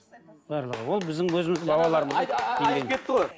барлығы ол біздің өзіміздің бабаларымыздың айтып кетті ғой